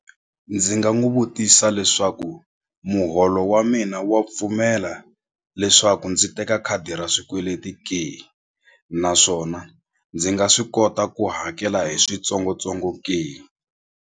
Ndzi nga n'wu vutisa leswaku muholo wa mina wa pfumela leswaku ndzi teka khadi ra swikweleti ke naswona ndzi nga swi kota ku hakela hi switsongotsongo ke.